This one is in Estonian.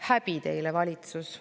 Häbi teile, valitsus!